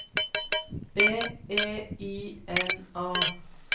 B E I N A